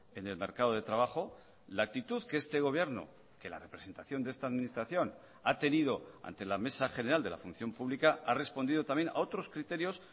en el mercado de trabajo la actitud que este gobierno que la representación de esta administración ha tenido ante la mesa general de la función pública ha respondido también a otros criterios